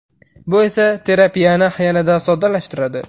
Bu esa terapiyani yanada soddalashtiradi.